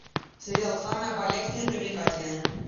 сериал самая обаятельная и привлекательная